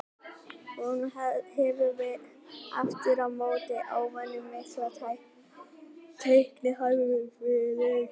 Hún hefur aftur á móti óvenju mikla teiknihæfileika.